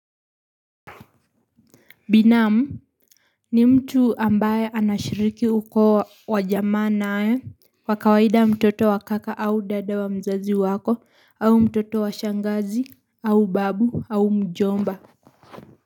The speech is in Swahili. Binamu ni mtu ambaye anashiriki uko wajamaa nae wakawaida mtoto wa kaka au dada wa mzazi wako au mtoto wa shangazi au babu au mjomba.